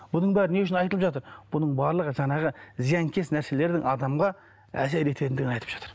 бұның бәрі не үшін айтылып жатыр бұның барлығы жаңағы зиянкес нәрселердің адамға әсер етендігін айтып жатыр